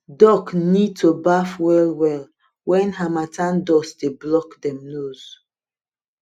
duck need to baf well well when harmattan dust dey block dem nose